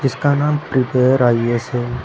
इसका नाम prepare IAS है।